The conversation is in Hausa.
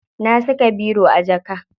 Na saka biro a jaka.